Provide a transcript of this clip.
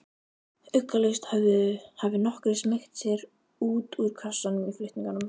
Ugglaust hafi nokkrir smeygt sér út úr kössunum í flutningunum.